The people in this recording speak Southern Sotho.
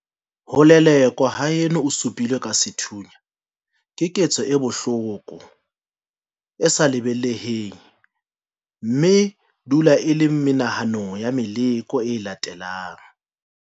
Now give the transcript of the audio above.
Ho lelekwa haeno o su pilwe ka sethunya keketso e bohloko e sa lebaleheng mme e dula e le menahanong ya meloko e latelang.